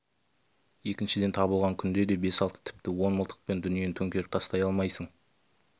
екіншіден табылған күнде де бес-алты тіпті он мылтықпен дүниені төңкеріп тастай алмайсың